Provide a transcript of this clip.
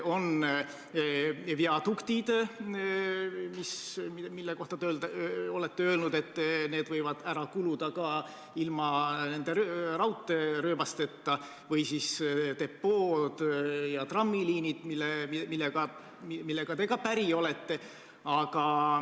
On viaduktid, mille kohta te olete öelnud, et need võivad ära kuluda ka ilma raudteerööbasteta, ja depood ja trammiliinid, millega te ka päri olete.